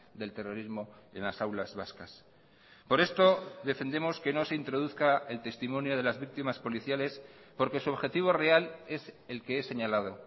del terrorismo en las aulas vascas por esto defendemos que no se introduzca el testimonio de las víctimas policiales porque su objetivo real es el que he señalado